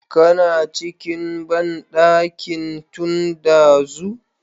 Kana cikin bandankin tun dazu?